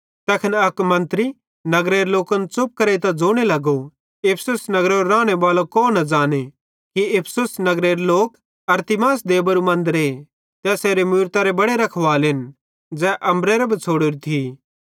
तैखन एक्की मंत्री नगरेरे लोकन च़ुप करेइतां ज़ोने लगो कि इफिसुस नगरेरे रानेबालो कौन न ज़ांने कि इफिसुस नगर लोक अरतिमिस देबारू मन्दरे ते एसेरे मूरतरो बड्डो रखवालेन ज़ैन अम्बरेरां बिछ़ड़ोरो थी